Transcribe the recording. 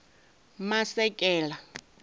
masekela